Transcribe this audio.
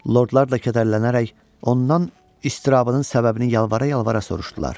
Lordlar da kədərlənərək ondan əzabının səbəbini yalvara-yalvara soruşdular.